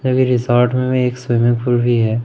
एक रिसोर्ट में एक स्विमिंग पूल भी है।